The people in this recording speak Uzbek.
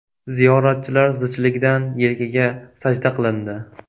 Ziyoratchilar zichligidan yelkaga sajda qilindi.